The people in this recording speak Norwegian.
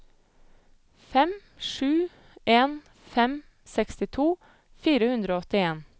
fem sju en fem sekstito fire hundre og åttien